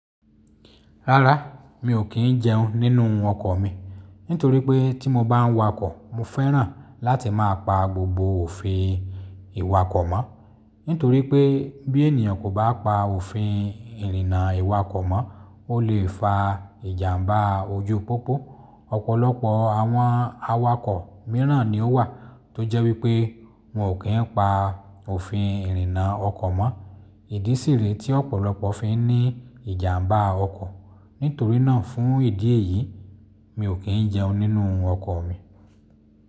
Rárá, mi ò kí ń jẹun nínú ọkọ̀ mi, nítorí pé tí mo bá ń wakọ̀, mo fẹ́ràn láti máa pa gbogbo òfin ìwakọ̀ mọ́. Nítorí pé bí ènìyàn kò bá pa òfin ìrìnnà ìwakọ̀ mọ́, ó lè fa ìjàmbá ojú pópó. Ọ̀pọ̀lọpọ̀ àwọn awakọ̀ mìíràn ni ó wà tó jẹ́ wípé wọn ò kí ń pa òfin ìrìnnà ọkọ̀ mọ́, ìdí sì rí tí ọ̀pọ̀lọpọ̀ fi ń ní ìjàmbá ọkọ̀. Nítorí náà fún ìdí èyí, mi ò kí ń jẹun nínú ọkọ̀ mi.